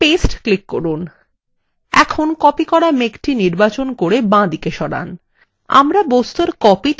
এখন copied করা মেঘটি নির্বাচন করে বাঁদিকে সরান